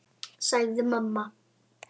sagði mamma.